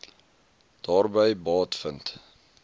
daarby baat vind